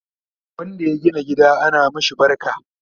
wanda ya gina gida ana mashi barka